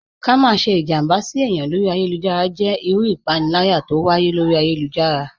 Ká má sẹ́ ìjàmbá sí èyàn lọ́rí ayélujára jẹ́ ìrù ìpánìlàyà t'ọ wáyé lọ́rí ayélujára.